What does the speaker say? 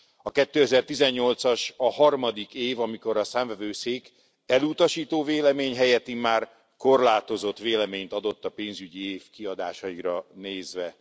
A 2018 as a harmadik év, amikor a Számvevőszék elutasító vélemény helyett immár korlátozott véleményt adott a pénzügyi év kiadásaira nézve.